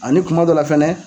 A ni kumadɔla fɛnɛ